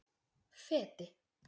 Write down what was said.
Feti